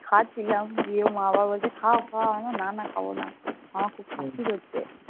খাচ্ছিলাম। দিয়ে মা আবার বলছে খাও খাও। আমি বললাম, না না খাব না। আমার খুব হচ্ছে।